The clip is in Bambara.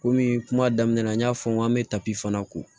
Komi kuma daminɛ na n y'a fɔ n ko an be tapu fana ko